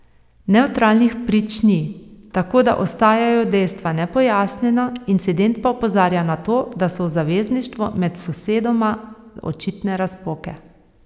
Nevtralnih prič ni, tako da ostajajo dejstva nepojasnjena, incident pa opozarja na to, da so v zavezništvu med sosedama očitne razpoke.